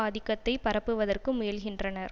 ஆதிக்கத்தை பரப்புவதற்கு முயலுகின்றனர்